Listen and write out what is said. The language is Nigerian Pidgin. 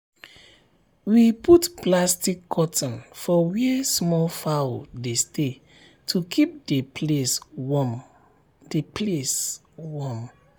we put plastic curtain for where small fowl dey stay to keep the place warm. the place warm.